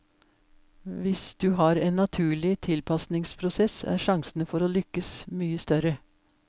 Hvis du har en naturlig tilpasningsprosess, er sjansene for å lykkes mye større.